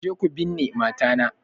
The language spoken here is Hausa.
Je ku binne mata na!